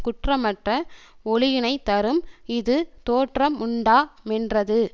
குற்றமற்ற ஒளியினைத் தரும் இது தோற்றமுண்டா மென்றது